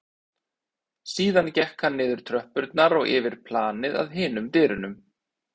Síðan gekk hann niður tröppurnar og yfir planið að hinum dyrunum.